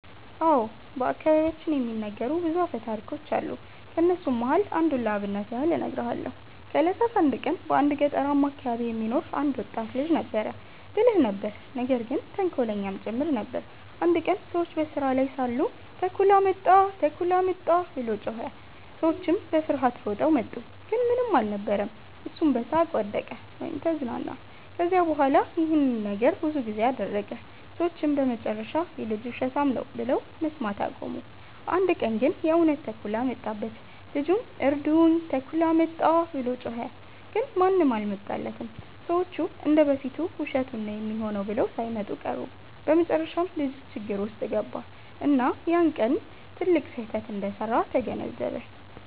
አዎ። በአከባቢያችን የሚነገሩ ብዙ አፈታሪኮች አሉ። ከነሱም መሃል አንዱን ለአብነት ያህል እነግርሃለው። ከ እለታት አንድ ቀን በአንድ ገጠርማ አከባቢ የሚኖር አንድ ወጣት ልጅ ነበረ። ብልህ ነበር ነገር ግን ተንኮለኛም ጭምር ነበር። አንድ ቀን ሰዎች በስራ ላይ ሳሉ “ተኩላ መጣ! ተኩላ መጣ!” ብሎ ጮኸ። ሰዎቹም በፍርሃት ሮጠው መጡ፣ ግን ምንም አልነበረም። እሱም በሳቅ ወደቀ(ተዝናና)። ከዚያ በኋላ ይህን ነገር ብዙ ጊዜ አደረገ። ሰዎቹም በመጨረሻ “ይህ ልጅ ውሸታም ነው” ብለው መስማት አቆሙ። አንድ ቀን ግን የእውነት ተኩላ መጣበት። ልጁም “እርዱኝ! ተኩላ መጣ!” ብሎ ጮኸ። ግን ማንም አልመጣለትም፤ ሰዎቹ እንደ በፊቱ ውሸቱን ነው ሚሆነው ብለው ሳይመጡ ቀሩ። በመጨረሻም ልጁ ችግር ውስጥ ገባ፣ እና ያ ቀን ትልቅ ስህተት እንደሰራ ተገነዘበ።